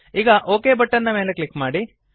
ಈಗ ok button ನ ಮೇಲೆ ಕ್ಲಿಕ್ ಮಾಡಿ